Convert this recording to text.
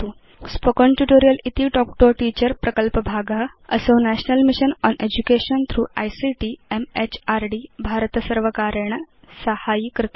spoken tutorial इति talk to a teacher प्रकल्पभाग असौ national mission on education through ICT MHRD भारतसर्वकारेण साहाय्यीकृत